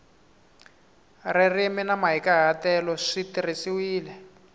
ririmi ni mahikahatelo swi tirhisiwile